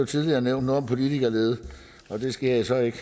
tidligere nævnt noget om politikerlede og det skal jeg så ikke